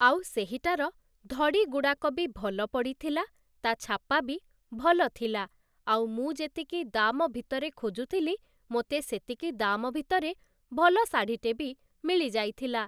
ଆଉ ସେହିଟାର ଧଡ଼ି ଗୁଡ଼ାକ ବି ଭଲ ପଡ଼ିଥିଲା ତା ଛାପା ବି ଭଲ ଥିଲା ଆଉ ମୁଁ ଯେତିକି ଦାମ ଭିତରେ ଖୋଜୁଥିଲି ମୋତେ ସେତିକି ଦାମ ଭିତରେ ଭଲ ଶାଢ଼ୀଟେ ବି ମିଳିଯାଇଥିଲା ।